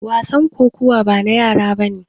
Wasan kokawa bana yara bane.